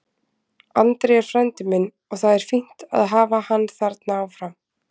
Andri er frændi minn og það er fínt að hafa hann þarna áfram.